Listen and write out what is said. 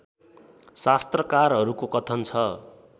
शास्त्रकारहरूको कथन छ